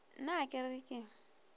na a ke re ke